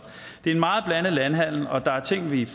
en meget blandet landhandel og der er ting vi er